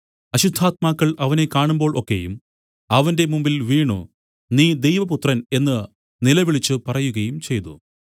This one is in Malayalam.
അശുദ്ധാത്മാക്കൾ അവനെ കാണുമ്പോൾ ഒക്കെയും അവന്റെ മുമ്പിൽ വീണു നീ ദൈവപുത്രൻ എന്നു നിലവിളിച്ചു പറയുകയും ചെയ്തു